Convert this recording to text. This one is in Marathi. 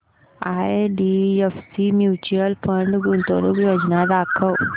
आयडीएफसी म्यूचुअल फंड गुंतवणूक योजना दाखव